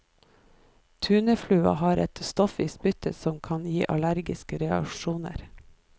Tuneflua har et stoff i spyttet som kan gi allergiske reaksjoner.